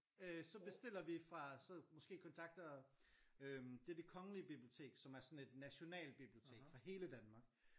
Øh så bestiller vi fra så måske kontakter øh det er det kongelige bibliotek som er sådan et nationalbibliotek for hele Danmark